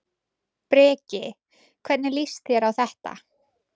Breki: Hvernig líst þér á þetta?